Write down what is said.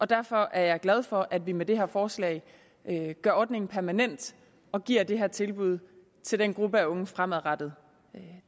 derfor er jeg glad for at vi med det her forslag gør ordningen permanent og giver det her tilbud til den gruppe af unge fremadrettet